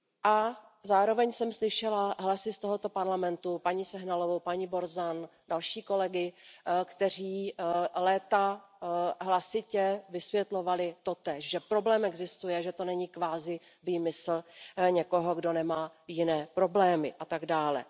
A zároveň jsem slyšela hlasy z Evropského parlamentu, paní Sehnalovou, paní Borzanovou, další kolegy, kteří léta hlasitě vysvětlovali totéž, že problém existuje, že to není kvazi výmysl někoho, kdo nemá jiné problémy a tak dále.